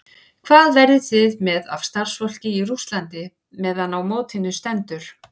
Hvað verðið þið með af starfsfólki í Rússlandi meðan á mótinu stendur?